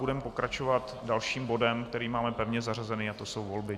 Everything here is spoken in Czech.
Budeme pokračovat dalším bodem, který máme pevně zařazený, a to jsou volby.